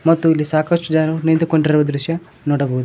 ಮತ್ತು ಇಲ್ಲಿ ಸಾಕಷ್ಟು ಜನರು ನಿಂತುಕೊಂಡಿರುವ ದೃಶ್ಯ ನೋಡಬಹುದು.